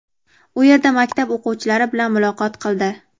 u yerda maktab o‘quvchilari bilan muloqot qildi.